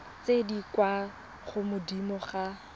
tse di kwa godimo ga